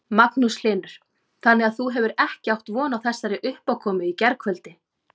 Magnús Hlynur: Þannig að þú hefur ekki átt von á þessari uppákomu í gærkvöldi?